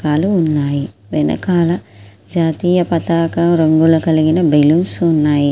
కాలు ఉన్నాయి వెనకాల జాతీయ పతాక రంగులు కలిగిన బెలూన్స్ ఉన్నాయి.